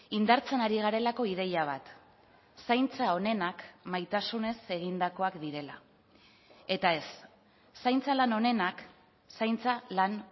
indartzen ari garelako ideia bat zaintza onenak maitasunez egindakoak direla eta ez zaintza lan onenak zaintza lan